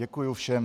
Děkuju všem.